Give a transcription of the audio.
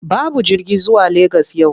Babu jirgi zuwa Legas yau.